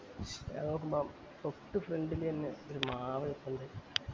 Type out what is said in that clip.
ഞാൻ നോക്കുമ്പോ തൊട്ട് front ലന്നെ ഒരു മാവ് നിപ്പുണ്ട്